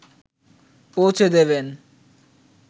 পৌঁছে দেবেন